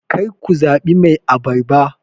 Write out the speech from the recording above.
kar ku zaɓi Mai abarba